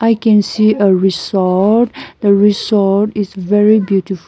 i can see uh resort the resort is very beautiful.